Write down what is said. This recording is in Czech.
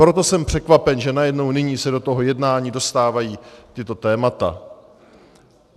Proto jsem překvapen, že najednou nyní se do toho jednání dostávají tato témata.